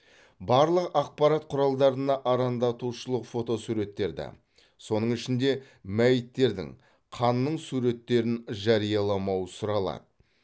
барлық ақпарат құралдарына арандатушылық фотосуреттерді соның ішінде мәйіттердің қанның суреттерін жарияламау сұралады